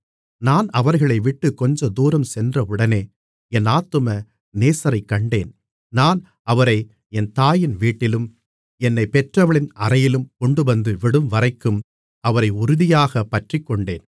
நான் அவர்களைவிட்டுக் கொஞ்சதூரம் சென்றவுடனே என் ஆத்தும நேசரைக் கண்டேன் நான் அவரை என் தாயின் வீட்டிலும் என்னைப் பெற்றவளின் அறையிலும் கொண்டுவந்து விடும்வரைக்கும் அவரை உறுதியாகப் பற்றிக்கொண்டேன்